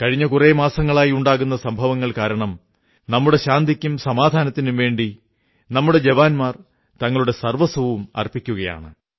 കഴിഞ്ഞ കുറേ മാസങ്ങളായി ഉണ്ടാകുന്ന സംഭവങ്ങൾ കാരണം നമ്മുടെ ശാന്തിക്കും സമാധാനത്തിനും വേണ്ടി നമ്മുടെ ജവാന്മാർ തങ്ങളുടെ സർവ്വസ്വവും അർപ്പിക്കയാണ്